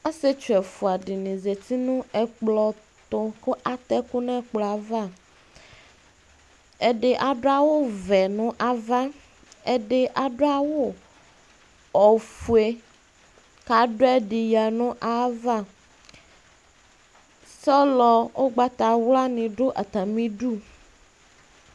Ɔsietsu ɛfua dini zati nu ɛkplɔtʋ kʋ arɛ'kʋ n'ɛkplɔ yɛ ava Ɛdi adʋ awu vɛ na'va, ɛdi adʋ awʋ ofue kadʋ ɛdiɣǝ nʋ ayava Sɔlɔ ʋgbatawla ni dʋ atamidu